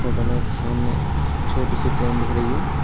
Photo में एक सामने छोटी सी ट्रेन दिख रही है।